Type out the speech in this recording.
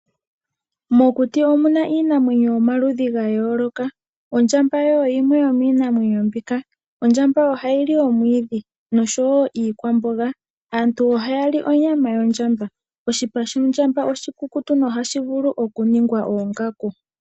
Mokuti omu na iinamwenyo yomaludhi ga yooloka. Ondjamba oyo yimwe yomiinamwenyo mbika. Ondjamba oha yi li omwiidhi nosho wo iikwamboga. Aantu oha ya li onyama yondjamba. Oshipa shondjamba oshikukutu noha shi vulu oku ningwa oongaku.